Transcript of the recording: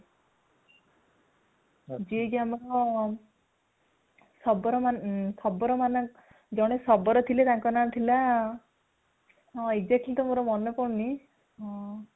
ଯେ କି ଆମର ଶବର ଶବର ମାନଙ୍କର ଜଣେ ଶବର ଥିଲେ ତାଙ୍କ ନା ଥିଲା ହଁ exactly ତ ମୋର ମାନେ ପଡୁନି ହଁ